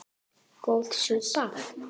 Góð súpa